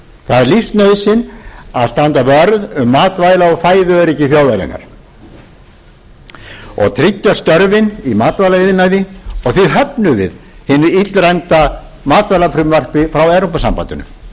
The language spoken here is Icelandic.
það er lífsnauðsyn að standa vörð um matvæla og fæðu öryggi þjóðarinnar og tryggja störfin í matvælaiðnaði og því höfnum við hinu illræmda matvælafrumvarpi frá evrópusambandinu